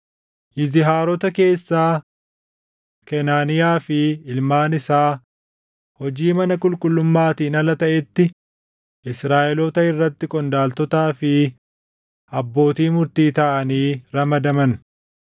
Yizihaarota keessaa: Kenaaniyaa fi ilmaan isaa hojii mana qulqullummaatiin ala taʼetti Israaʼeloota irratti qondaaltotaa fi abbootii murtii taʼanii ramadaman.